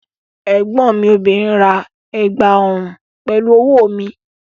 Ẹ̀gbọ́n mi obìnrin ra ẹ̀gbà ọrùn pẹ̀lú owó mi